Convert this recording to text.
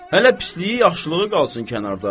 Hələ pisliyi-yaxşılığı qalsın kənarda.